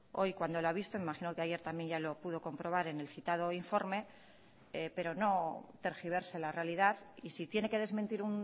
hoy cuando lo ha visto imagino que ayer también ya lo pudo comprobar en el citado informe pero no tergiverse la realidad y si tiene que desmentir